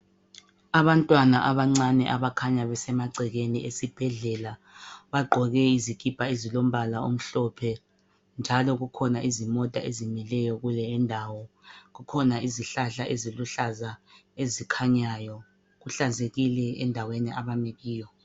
Abantwana abancane abakhanya besemagcekeni esibhedlela bagqoke izikipa ezilombala omhlophe njalo kukhona izimota ezimileyo kule indawo. Kukhona izihlahla eziluhlaza ezikhanyayo. Kuhlanzekile endaweni abami kiyo.